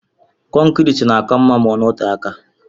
kọncrit na aka ma ọnọte aka.